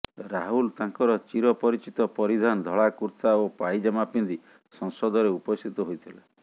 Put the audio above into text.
ରାହୁଲ୍ ତାଙ୍କର ଚିରପରିଚିତ ପରିଧାନ ଧଳା କୁର୍ତ୍ତା ଓ ପାଇଜାମା ପିନ୍ଧି ସଂସଦରେ ଉପସ୍ଥିତ ହୋଇଥିଲେ